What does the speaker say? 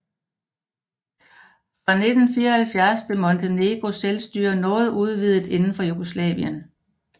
Fra 1974 blev Montenegros selvstyre noget udvidet inden for Jugoslavien